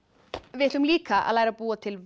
við ætlum líka að læra að búa til